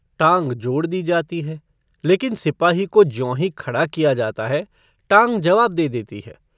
टाँग जोड़ दी जाती है लेकिन सिपाही को ज्यों ही खड़ा किया जाता है टाँग जवाब दे देती है।